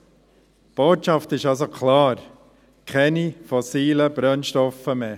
Die Botschaft ist also klar: keine fossilen Brennstoffe mehr.